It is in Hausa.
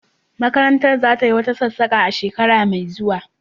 Makarantar za tayi wata sassaƙa a shekara mai zuwa.